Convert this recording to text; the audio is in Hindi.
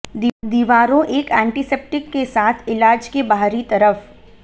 दीवारों एक एंटीसेप्टिक के साथ इलाज के बाहरी तरफ